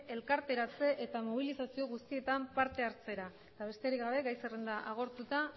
elkarteratze eta mobilizazio guztietan parte hartzera eta besterik gabe gai zerrenda agortuta